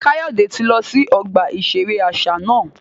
Kayode ti lọ si ọgba iṣere aṣa náà